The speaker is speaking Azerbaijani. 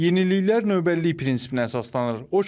Yeniliklər növbəlilik prinsipinə əsaslanır.